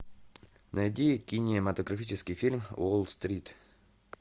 найди кинематографический фильм уолл стрит